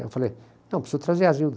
Eu falei, não, preciso trazer a Zilda.